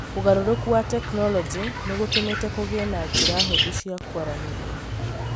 ũgarũrũku wa tekinolonjĩ ni gũtũmĩte kũgĩe na njĩra hũthũ cia kwaranĩria